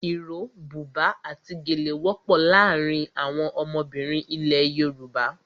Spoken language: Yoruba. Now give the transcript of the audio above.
Iro, buba àti gèlè wọ́pọ̀ láàárín àwọn ọmọbìnrin ilẹ̀ Yorùbá.